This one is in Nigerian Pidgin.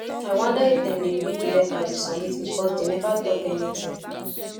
i wonder if dem dey read the letter we submit because dey never talk anything